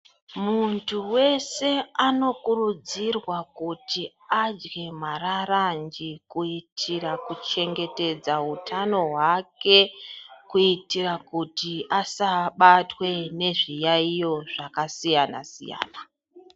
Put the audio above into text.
Muntu weshe anokurudzirwa kuti adye mararanje kuitira kuchengetedza hutano hwake kuitira kuti asabatwe nezviyaiyo zvakasiyana siyana.